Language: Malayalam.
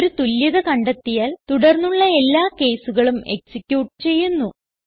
ഒരു തുല്യത കണ്ടെത്തിയാൽ തുടർന്നുള്ള എല്ലാ caseകളും എക്സിക്യൂട്ട് ചെയ്യുന്നു